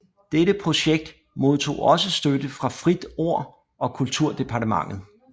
Dette projekt modtog også støtte fra Fritt Ord og Kulturdepartementet